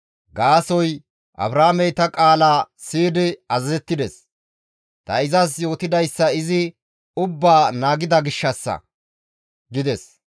Gaasoykka Abrahaamey ta qaalaa siyidi azazettides; ta izas yootidayssa izi ubbaa naagida gishshassa» gides.